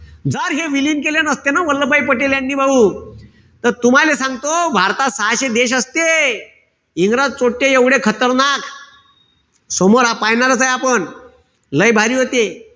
जर हे विलीन केले नसते न वल्लभभाई पटेल यांनी भाऊ त तुम्हाले सांगतो भारतात सहाशे देश असते. इंग्रज चोट्टे एवढे खतरनाक, समोर पायनाराचे च ए आपण. लय भारी होते.